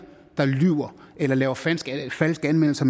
der lyver eller lave falske falske anmeldelser